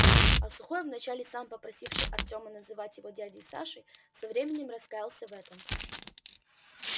а сухой вначале сам попросивший артёма называть его дядей сашей со временем раскаялся в этом